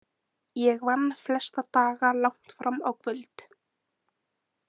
Ég vann flesta daga langt fram á kvöld.